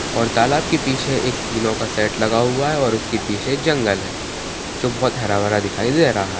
--और तालाब की पीछे कीनो का सेट लगा हुआ है उसके पीछे एक जंगल है जो बोहोत हरा भरा दिखाई दे रहा है।